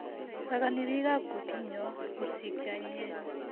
sokoni biikab kotenyo mursik che anyinyen